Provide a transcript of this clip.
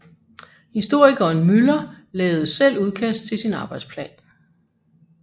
Historikeren Müller lavede selv udkast til sin arbejdsplan